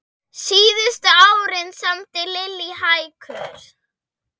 Síðustu árin samdi Lillý hækur.